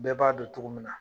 Bɛɛ b'a dɔn cogo min na